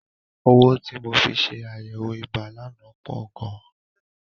Owó tí mo fi ṣe àyẹ̀wò ibà lánàá pọ̀ gan.